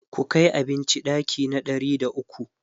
ku Kai abinci ɗaki na ɗari da ukwu!